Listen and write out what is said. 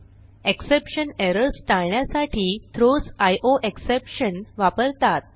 exception errors टाळण्यासाठी throws IOException वापरतात